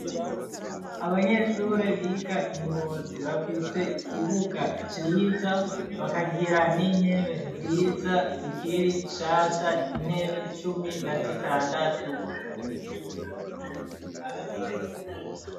Abanyeshuri biga ingozi ,bafise ikibuga ciza, bakagira n'intebe nziza ,zikiri nshasha, intebe cumi na zitandatu.